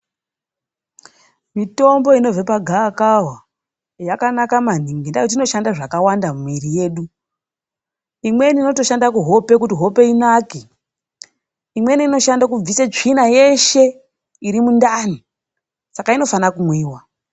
Mitombo inobve pagava kava nyakanaka mangini. Nendaa yekuti inoshanda zvakawanda mumuiri yedu. Imweni inotoshanda kuhope kuti hope inake. Imweni inoshanda kubvise tsvina yeshe iri mundani. Saka inofana kumwiwa.